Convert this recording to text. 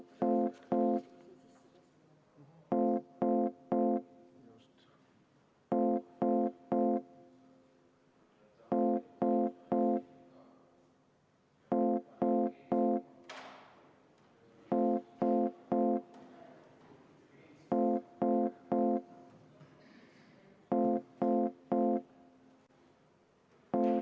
Juhtivkomisjoni ettepanek on lõpetada eelnõu 252 teine lugemine.